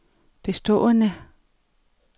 bestående